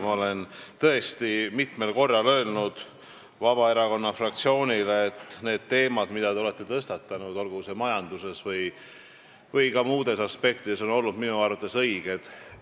Ma olen tõesti mitmel korral öelnud Vabaerakonna fraktsioonile, et need teemad, mida te olete tõstatanud, majandusest või ka muudest aspektidest, on olnud õiged.